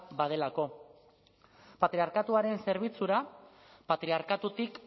badelako patriarkatuaren zerbitzura patriarkatutik